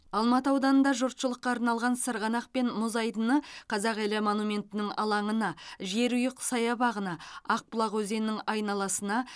алматы ауданында жұртшылыққа арналған сырғанақ пен мұз айдыны қазақ елі монументінің алаңына жерұйық саябағына ақбұлақ өзенінің айналасына